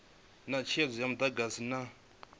na netshedzo ya mudagasi na